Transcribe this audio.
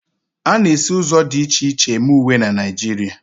A na-esi ụzọ dị iche iche eme uwe na Naịjirịa.